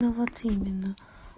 ну вот именно